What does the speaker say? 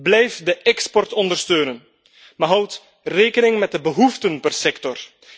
Blijf de export ondersteunen, maar houd rekening met de behoeften per sector.